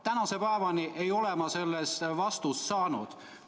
Tänase päevani ei ole ma vastust saanud.